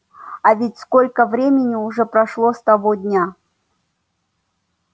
а ведь сколько времени уже прошло с того дня